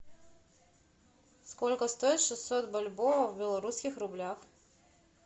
сколько стоит шестьсот бальбоа в белорусских рублях